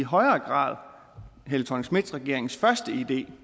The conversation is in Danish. i højere grad helle thorning schmidt regeringens første idé